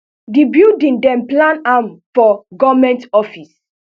di building dem plan am for goment offices